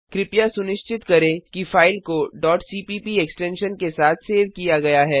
कृपया सुनिश्चित करें कि फाइल को cpp एक्सटेंशन के साथ सेव किया गया है